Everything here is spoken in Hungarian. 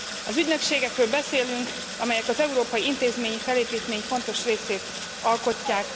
Az ügynökségekről beszélünk, amelyek az európai intézményi felépítmény fontos részét alkotják.